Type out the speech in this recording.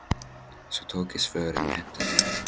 Svo tók ég svörin og henti þeim.